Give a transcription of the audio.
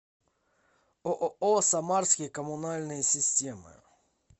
ооо самарские коммунальные системы